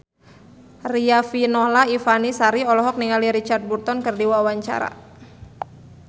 Riafinola Ifani Sari olohok ningali Richard Burton keur diwawancara